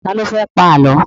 Ta ló fẹ́ pa Àlọ́?